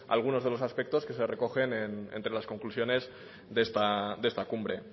algunos de los aspectos que se recogen entre las conclusiones de esta cumbre